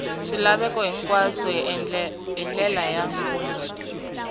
swilaveko hinkwaswo hi ndlela ya